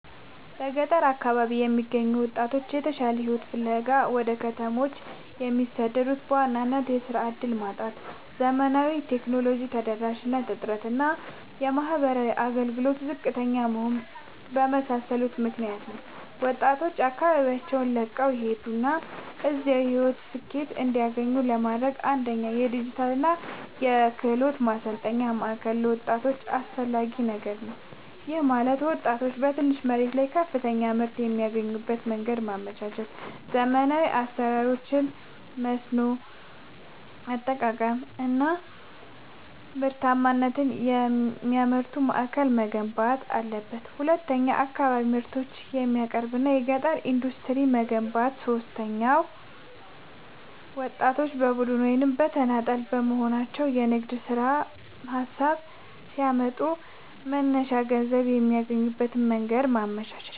በገጠር አካባቢዎች የሚገኙ ወጣቶች የተሻለ ሕይወትን ፍለጋ ወደ ከተሞች የሚሰደዱት በዋናነት የሥራ ዕድል ማጣት፣ የዘመናዊ ቴክኖሎጂ ተደራሽነት እጥረት እና የማኅበራዊ አገልግሎቶች ዝቅተኛ መሆን በመሳሰሉ ምክኒያቶች ነው። ወጣቶች አካባቢያቸውን ለቀው እንዳይሄዱና እዚያው የሕይወት ስኬትን እንዲያገኙ ለማድረግ፣ አንደኛ የዲጂታልና የክህሎት ማሠልጠኛ ማእከል ለወጣቶች አስፈላጊ ነገር ነው። ይህም ማለት ወጣቶች በትንሽ መሬት ላይ ከፍተኛ ምርት የሚያገኙበትን መንገድ ማመቻቸት፣ ዘመናዊ የአሠራር ዘዴዎችን፣ የመስኖ አጠቃቀም አናምርታማነትን የሚማሩበት ማእከል መገንባት አለበት። ሁለተኛው የአካባቢ ምርቶችን የሚያቀናብር የገጠር ኢንዱስትሪዎችን መገንባት። ሦስተኛው ወጣቶች በቡድን ወይም በተናጠል በመሆንየራሣቸውን የንግድ ሀሳብ ሲያመጡ መነሻ ገንዘብ የሚያገኙበትን መንገድ ማመቻቸት።